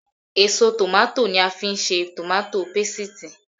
Èso tòmátò ni màá fi ń ṣe tòmátò pasìtì